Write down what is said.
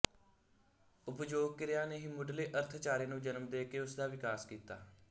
ਉਪਯੋਗ ਕਿਰਿਆ ਨੇ ਹੀ ਮੁੱਢਲੇ ਅਰਥਚਾਰੇ ਨੂੰ ਜਨਮ ਦੇ ਕੇ ਉਸ ਦਾ ਵਿਕਾਸ ਕੀਤਾ